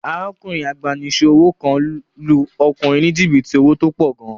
Arákùnrin abánisẹ́wò kan lu ọkùnrin ní jìbìtì owó tó pọ̀ gan